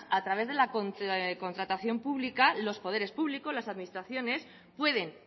a través de la contratación pública los poderes públicos las administraciones pueden